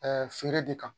feere de kan